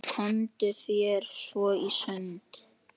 Komdu þér svo í sund.